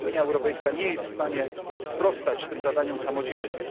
Unia Europejska nie jest w stanie sprostać tym zadaniom samodzielnie.